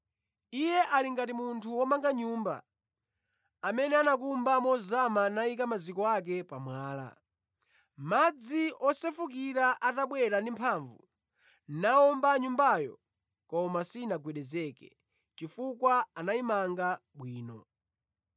Iye ali ngati munthu womanga nyumba, amene anakumba mozama nayika maziko ake pa mwala. Madzi osefukira atabwera ndi mphamvu, nawomba nyumbayo koma sinagwedezeka, chifukwa anayimanga bwino.